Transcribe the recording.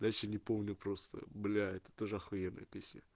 дальше не помню просто блять это тоже ахуенная песня